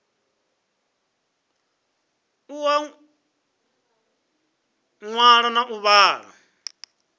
u ṅwala na u vhala